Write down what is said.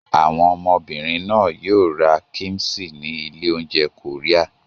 Àwọn ọmọbìnrin náà yóò ra kíḿṣì ní ilé-oúnjẹ Korea.